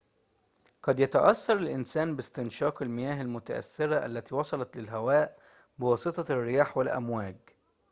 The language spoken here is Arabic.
قد يتأثر الإنسان باستنشاق المياه المتأثرة التي وصلت للهواء بواسطة الرياح والأمواج